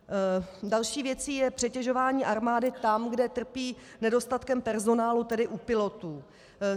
Další věcí je přetěžování armády tam, kde trpí nedostatkem personálu, tedy u pilotů.